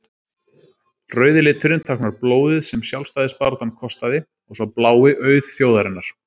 rauði liturinn táknar blóðið sem sjálfstæðisbaráttan kostaði og sá blái auð þjóðarinnar